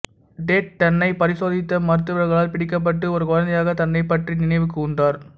dead தன்னை பரிசோதித்த மருத்துவர்களால் பிடிக்கப்பட்ட ஒரு குழந்தையாக தன்னைப் பற்றி நினைவு கூர்ந்தார்